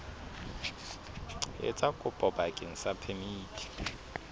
etsa kopo bakeng sa phemiti